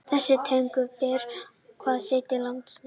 Þessar tegundir bera þá hver sitt latneska heiti.